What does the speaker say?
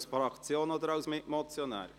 Knutti für die Fraktion oder als Mitmotionär?